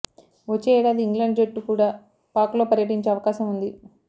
వచ్చే ఏడాది ఇంగ్లాండ్ జట్టు కూడా పాక్లో పర్యటించే అవకాశం ఉంది